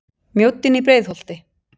Mjóddin í Breiðholti.